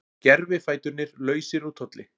Gervifæturnir lausir úr tolli